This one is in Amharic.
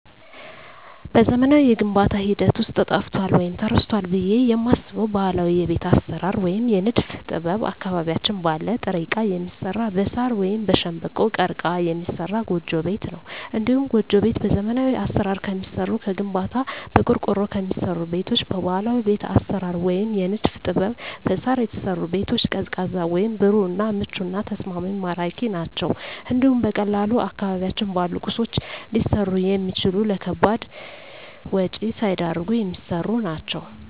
በዘመናዊው የግንባታ ሂደት ውስጥ ጠፍቷል ወይም ተረስቷል ብየ የማስበው ባህላዊ የቤት አሰራር ወይም የንድፍ ጥበብ አካባቢያችን ባለ ጥሬ እቃ የሚሰራ በሳር ወይም በሸንበቆ(ቀርቀሀ) የሚሰራ ጎጆ ቤት ነው። እንዲሁም ጎጆ ቤት በዘመናዊ አሰራር ከሚሰሩ ከግንባታ፣ በቆርቆሮ ከሚሰሩ ቤቶች በባህላዊ ቤት አሰራር ወይም የንድፍ ጥበብ በሳር የተሰሩ ቤቶች ቀዝቃዛ ወይም ብሩህ እና ምቹና ተስማሚ ማራኪ ናቸው እንዲሁም በቀላሉ አካባቢያችን ባሉ ቁሶች ሊሰሩ የሚችሉ ለከባድ ወጭ ሳይዳርጉ የሚሰሩ ናቸው።